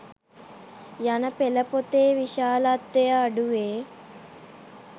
යන පෙළ පොතේ විශාලත්වය අඩුවේ.